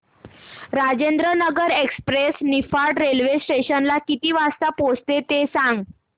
Rajendranagar express Niphad railway station ला किती वाजता पोहचते ते सांग